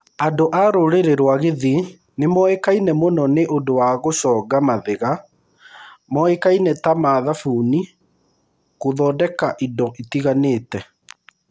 Andũ a rũũrĩrĩ rwa Githiii nĩ moĩkaine mũno nĩ ũndũ wa gũchonga mathiga moĩkaine ta ma thabuni gũthondeka indo itiganite.